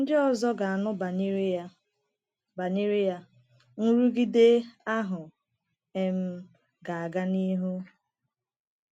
Ndị ọzọ ga-anụ banyere ya, banyere ya, nrụgide ahụ um ga-aga n’ihu.